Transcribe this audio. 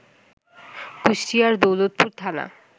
কুষ্টিয়ার দৌলতপুর থানা